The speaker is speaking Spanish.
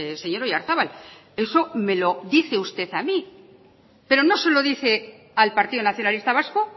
señor oyarzabal eso me lo dice usted a mí pero no se lo dice al partido nacionalista vasco